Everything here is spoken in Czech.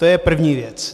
To je první věc.